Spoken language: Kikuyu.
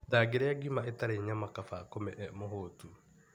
Ndangĩra ngima ĩtarĩ nyama kaba akome e mũhũtu.